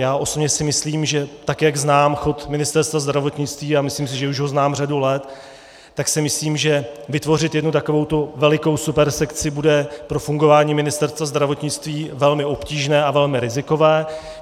Já osobně si myslím, že tak jak znám chod Ministerstva zdravotnictví, a myslím si, že už ho znám řadu let, tak si myslím, že vytvořit jednu takovou velikou supersekci bude pro fungování Ministerstva zdravotnictví velmi obtížné a velmi rizikové.